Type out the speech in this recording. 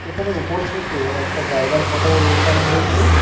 এখানে ওপর থেকে একটা জায়গার ফটোর ওঠানো হয়েছে।